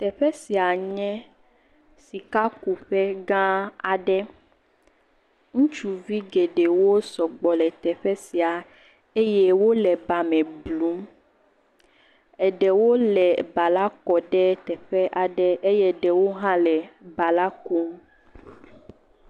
Teƒe sia nye sikakuƒe gã aɖe, ŋutsuvi geɖewo sɔgbɔ le teƒe sia eye wole ba me blum. Ɖewo le ba la kɔm ɖe teƒe aɖe eye ɖe wo le ba la kum.